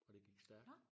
Og det gik stærkt